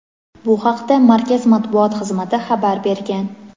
Bu haqda markaz Matbuot xizmati xabar bergan.